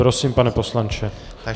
Prosím, pane poslanče.